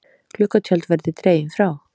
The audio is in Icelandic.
Gluggatjöld verði dregin frá